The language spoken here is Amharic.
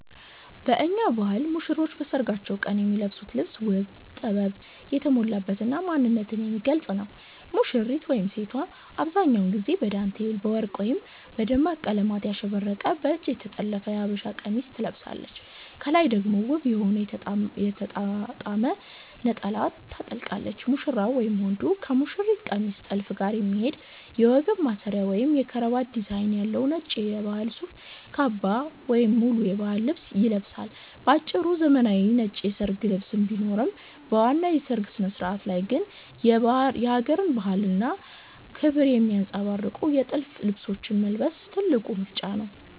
በእኛ ባህል ሙሽሮች በሰርጋቸው ቀን የሚለብሱት ልብስ ውብ፣ ጥበብ የተሞላበት እና ማንነትን የሚገልጽ ነው፦ ሙሽሪት (ሴቷ)፦አብዛኛውን ጊዜ በዳንቴል፣ በወርቅ ወይም በደማቅ ቀለማት ያሸበረቀ በእጅ የተጠለፈ የሀበሻ ቀሚስትለብሳለች። ከላይ ደግሞ ውብ የሆነ የተጣጣመ ነጠላ ታጠልቃለች። ሙሽራው (ወንዱ)፦ ከሙሽሪት ቀሚስ ጥልፍ ጋር የሚሄድ የወገብ ማሰሪያ ወይም የከረባት ዲዛይን ያለው ነጭ የባህል ሱፍ (ካባ) ወይም ሙሉ የባህል ልብስ ይለብሳል። ባጭሩ፤ ዘመናዊው ነጭ የሰርግ ልብስ ቢኖርም፣ በዋናው የሰርግ ስነ-ስርዓት ላይ ግን የሀገርን ባህልና ክብር የሚያንጸባርቁ የጥልፍ ልብሶችን መልበስ ትልቁ ምርጫ ነው።